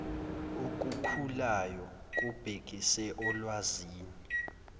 okukhulayo kubhekise olwazini